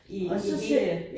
I i hele